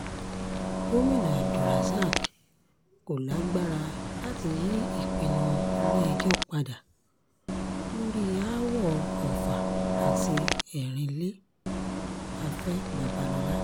gomina abdulrozak kò lágbára láti yí ìpinnu ilé-ẹjọ́ padà lórí aáwọ̀ ọfà àti erinlẹ̀- afẹ́ babalọ́la